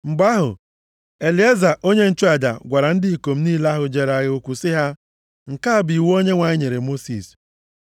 Mgbe ahụ, Elieza onye nchụaja gwara ndị ikom niile ahụ jere agha okwu sị ha, “Nke a bụ iwu Onyenwe anyị nyere Mosis.